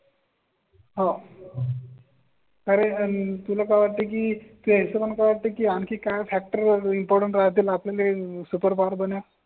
हो. कारण तुला का वाटते की काय असं वाटतं की आणखी काय फॅक्ट रिपोर्ट राहतील आपल्या सुपर बन या.